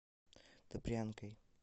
добрянкой